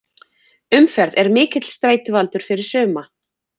Umferð er mikill streituvaldur fyrir suma.